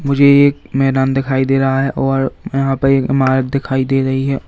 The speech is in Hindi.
मुझे ये एक मैदान दिखाई दे रहा है और यहां पर एक इमारत दिखाई दे रही है।